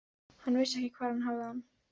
Hann vissi ekki hvar hann hafði hann.